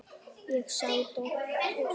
Ég sá dóttur.